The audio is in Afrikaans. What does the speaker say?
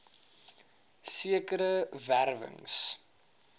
sekere wer wings